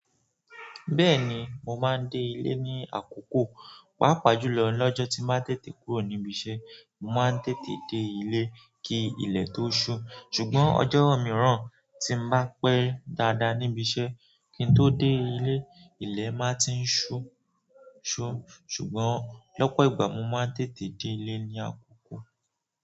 Bẹ́ẹ̀ni, mo máa ń dé ilé ní àkókò, pàápàá jùlọ lọ́jọ́ tí màá tètè kúrò níbi iṣẹ́, mo máa ń tètè dé ilé kí ilẹ̀ tó ṣú. Ṣùgbọ́n ọjọ́ mìíràn tí mo bá pẹ́ dáadáa níbi iṣẹ́, kí n tó dé ilé, ilẹ̀ máa ti ń ṣú. Ṣùgbọ́n lọ́pọ̀ ìgbà, mo máa ń tètè dé ilé ní àkókò.